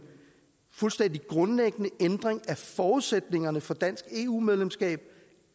fuldstændig grundlæggende ændring af forudsætningerne for dansk eu medlemskab